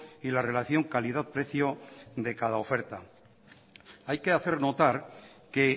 y la relación calidad precio de cada oferta hay que hacer notar que